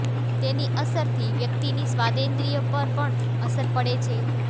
તેની અસરથી વ્યક્તિની સ્વાદેન્દ્રિય પર પણ અસર પડે છે